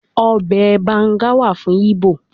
Obe Banga wa fun Igbo